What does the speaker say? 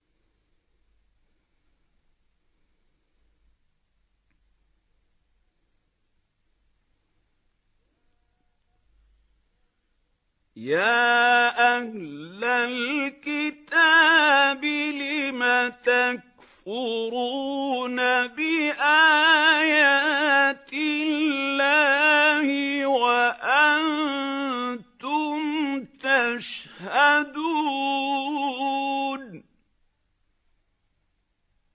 يَا أَهْلَ الْكِتَابِ لِمَ تَكْفُرُونَ بِآيَاتِ اللَّهِ وَأَنتُمْ تَشْهَدُونَ